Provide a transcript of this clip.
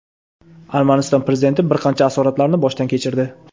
Armaniston Prezidenti bir qancha asoratlarni boshdan kechirdi.